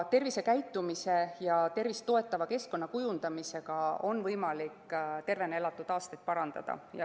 Tervisekäitumise ja tervist toetava keskkonna kujundamisega on võimalik tervena elatud aastate arvu kasvatada.